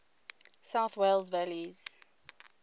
south wales valleys